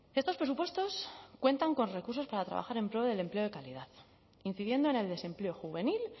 estos presupuestos cuentan con recursos para trabajar en pro del empleo de calidad incidiendo en el desempleo juvenil